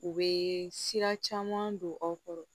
U bɛ sira caman don aw kɔrɔ